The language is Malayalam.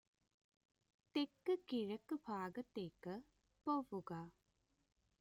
തെക്കുകിഴക്ക് ഭാഗത്തേക്ക് പോവുക